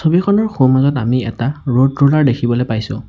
Field খনৰ সোঁমাজত আমি এটা ৰোড ৰলাৰ দেখিবলৈ পাইছোঁ।